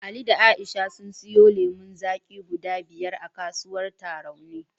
Ali da Musa sun siyo lemon zaki guda biyar a kasuwar Tarauni.